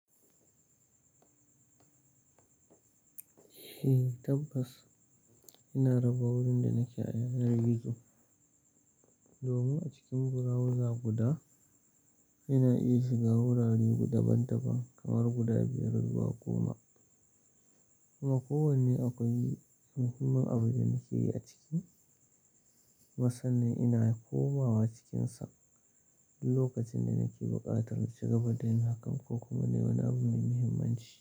Eh tabbas, ina raba wurin da nake a yanar gizo. Domin a cikin browser guda ina iya shiga wurare guda daban-daban kamar guda biyar zuwa goma. Amma kowanne akwai muhimmin abu da nake yi a ciki. Kuma san nan ina komawa cikinsa duk lokacin da nake buƙatar shiga baɗi na akan ko kuma wani abu mai muhimmanci.